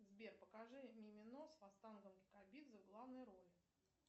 сбер покажи мимино с вахтангом кикабидзе в главной роли